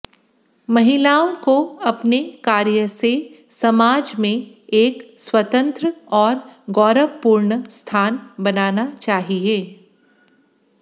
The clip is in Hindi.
महिलाओं को अपने कार्य से समाज में एक स्वतंत्र और गौरवपूर्ण स्थान बनाना चाहिए